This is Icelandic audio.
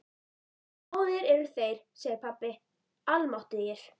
Báðir eru þeir, segir pabbi, almáttugir.